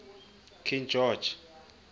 king george